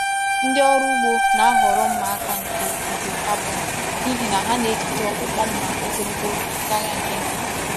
Ndị ọrụ ugbo na-ahọrọ mma aka nke ígwè carbon n’ihi na ha na-ejide ọkpụkpụ mma ogologo oge karịa nke nkịtị.